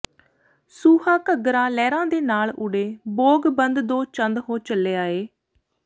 ਸੂਹਾ ਘੱਗਰਾ ਲਹਿਰਾਂ ਦੇ ਨਾਲ ਉਡੇ ਬੋਗ ਬੰਦ ਦੋ ਚੰਦ ਹੋ ਚੱਲਿਆ ਈ